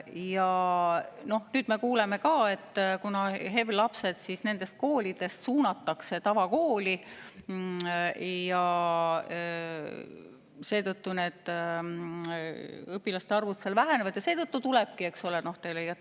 Ja nüüd me kuuleme ka, et kuna HEV-lapsed suunatakse nendest koolidest tavakooli, siis õpilaste arv seal väheneb ja seetõttu tulebki, eks ole.